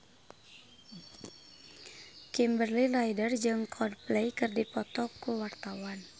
Kimberly Ryder jeung Coldplay keur dipoto ku wartawan